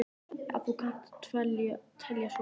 Ef þú kannt að telja svo hátt.